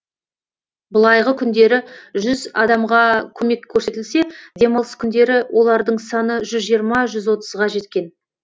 былайғы күндері жүз адамға көмек көрсетілсе демалыс күндері олардың саны жүз жиырма жүз отызға жеткен